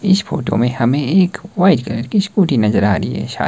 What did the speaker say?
इस फोटो में हमें एक वाइट कलर की स्कूटी नजर आ रही है शाय--